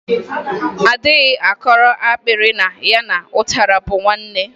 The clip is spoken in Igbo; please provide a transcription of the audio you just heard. A dịghị akọrọ akpịrị na ya na ụtara bụ nwanne.